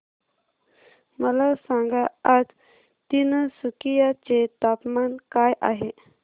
मला सांगा आज तिनसुकिया चे तापमान काय आहे